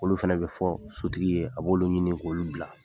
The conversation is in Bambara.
Olu fɛnɛ bɛ fɔ sotigi ye, a b'olu ɲini k'olu bila.